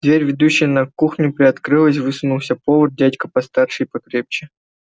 дверь ведущая на кухню приоткрылась высунулся повар дядька постарше и покрепче